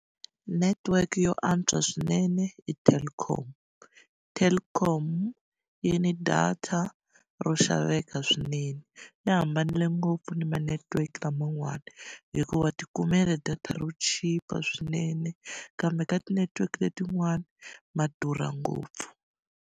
Netiweke yo antswa swinene i Telkom. Telkom yi ni data ro xaveka swinene, yi hambanile ngopfu ni ma-network laman'wana. Hikuva wa ti kumela data ro chipa swinene, kambe ka ti-network letin'wani, ma durha ngopfu.